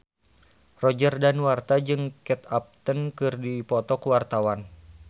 Roger Danuarta jeung Kate Upton keur dipoto ku wartawan